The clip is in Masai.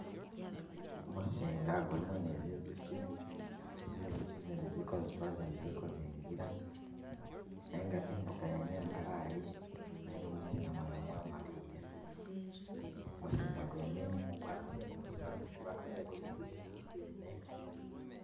Kumisinga gulimo ni zinjukyi, zinjukyi izindi ziliko zitula izindi ziliko zingila nenga nga imbuga yene imbalayi nenga mumuzinga mwene mwamaliya, mumuzinga gwene mumu gwakasiya mumuzinga gwene gwakasiya zinjukyi zene